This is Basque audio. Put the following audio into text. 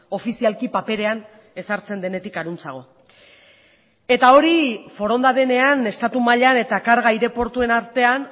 ofizialki paperean ezartzen denetik harantzago eta hori foronda denean estatu mailan eta karga aireportuen artean